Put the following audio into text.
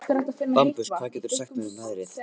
Bambus, hvað geturðu sagt mér um veðrið?